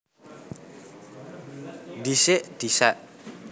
Dhisik disék